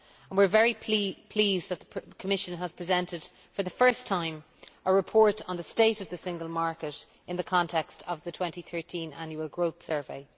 We are very pleased that the Commission has presented for the first time a report on the state of the single market in the context of the 2013 Annual Growth Survey.